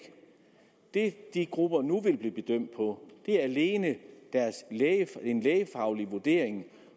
det de grupper nu vil blive bedømt på er alene en lægefaglig vurdering